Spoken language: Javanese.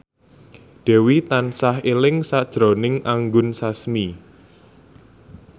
Dewi tansah eling sakjroning Anggun Sasmi